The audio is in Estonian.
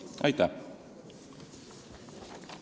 Aitäh!